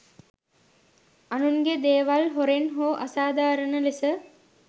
අනුන්ගේ දේවල් හොරෙන් හෝ අසාධාරණ ලෙස